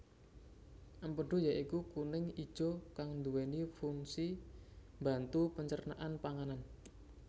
Empedhu ya iku kuning ijo kang nduweni funsi mbantu pencernaan panganan